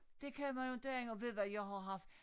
Det kan man jo inte andet og ved du hvad jeg har haft